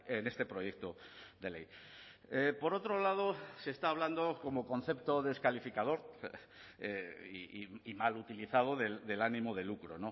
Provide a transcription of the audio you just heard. en este proyecto de ley por otro lado se está hablando como concepto descalificador y mal utilizado del ánimo de lucro